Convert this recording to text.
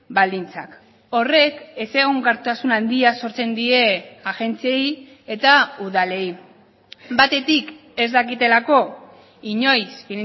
baldintzak horrek ez egonkortasun handia sortzen die agentziei eta udalei batetik ez dakitelako inoiz